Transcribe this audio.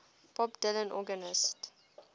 bob dylan organist